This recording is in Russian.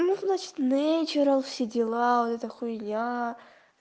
ну значит нэйчералс все дела вот эта хуйня